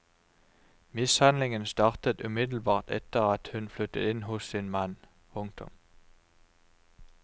Mishandlingen startet umiddelbart etter at hun flyttet inn hos sin mann. punktum